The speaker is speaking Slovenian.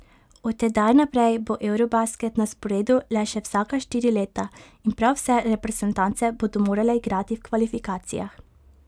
Od tedaj naprej bo eurobasket na sporedu le še vsaka štiri leta in prav vse reprezentance bodo morale igrati v kvalifikacijah.